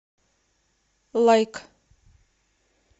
лайк